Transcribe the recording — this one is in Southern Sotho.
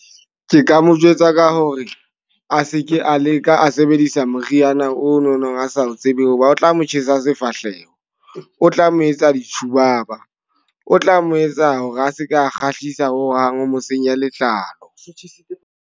Ke ka mo jwetsa ka hore a seke a leka a sebedisa moriana o nonong a sa o tsebe. Hoba o tla mo tjhesa sefahleho, o tla mo etsa ditjhubaba, o tla mo etsa hore a seka kgahlisa ho hang o mo senya letlalo.